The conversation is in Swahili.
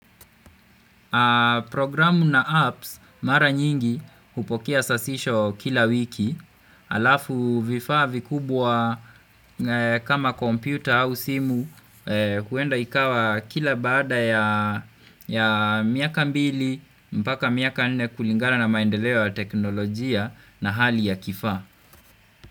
Programu na apps mara nyingi hupokea sahisho kila wiki halafu vifaa vikubwa kama kompyuta au simu wenda ikawa kila baada ya miaka mbili mpaka miaka nne kulingana na maendeleo ya teknolojia na hali ya kifaa.